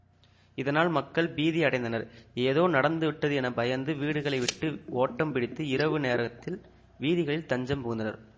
இதனால் மக்கள் பீதி அடைந்தனர் ஏதோ நடந்துவிட்டது என பயந்து வீடுகளை விட்டு ஓட்டம் பிடித்து இரவு நேரத் வீதிகளில் தஞ்சம் புகுந்தனர்